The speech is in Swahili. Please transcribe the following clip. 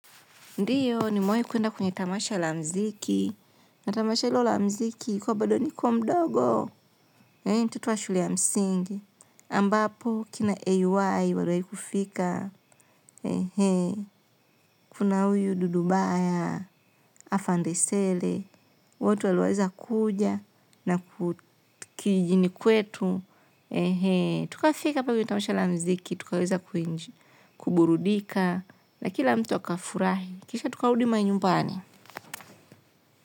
Ndiyo, nimewahi kuenda kwenye tamasha la muziki. Na tamasha hilo la muziki, ilikuwa bado niko mdogo. Eeh, mtoto wa shule ya msingi. Ambapo, kina ay, waliwai kufika. Ehee. Kuna uyu dudubaya, afandesele. Watu waliweza kuja na kijijini kwetu. Ehee. Tukafika hapo tamasha la mziki. Tukaweza kuburudika. Na kila mtu akafurahi. Kisha tukarudi manyumbani.